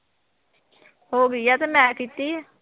ਹੋ ਗਈ ਹੈ ਅਤੇ ਮੈਂ ਕੀਤੀ ਹੈ